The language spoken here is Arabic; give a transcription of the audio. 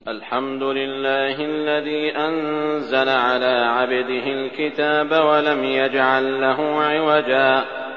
الْحَمْدُ لِلَّهِ الَّذِي أَنزَلَ عَلَىٰ عَبْدِهِ الْكِتَابَ وَلَمْ يَجْعَل لَّهُ عِوَجًا ۜ